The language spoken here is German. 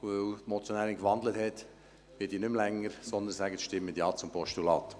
Weil die Motionärin gewandelt hat, werde ich nicht länger sprechen, sondern sage: «Stimmen Sie Ja zum Postulat.»